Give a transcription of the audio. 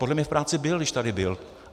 Podle mě v práci byl, když tady byl.